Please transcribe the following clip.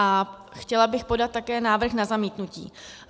A chtěla bych podat také návrh na zamítnutí.